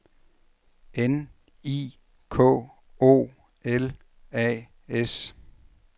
N I K O L A S